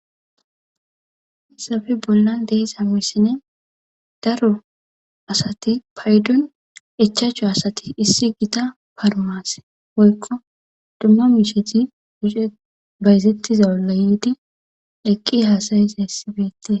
haysafe bollan de7iza misilen daro asati paydon ichachu asati issi gita parmaase woykko dumma misheti bayzetiza olla yiidi eqqi haasayizayssi beete.